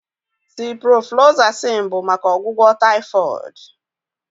Ciprofloxacin bụ maka ọgwụgwọ typhoid